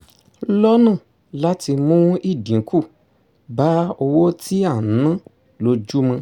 lọ́nà láti mú ìdínkù bá owó tí à ń ná lójúmọ́